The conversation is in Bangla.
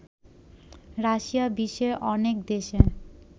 রাশিয়া বিশ্বের অনেক দেশে